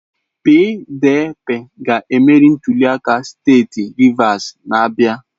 PDP ga-emeri ntuliaka steeti Rivers na-abịa.